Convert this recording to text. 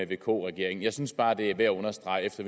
vk regeringen jeg synes bare at det er værd at understrege efter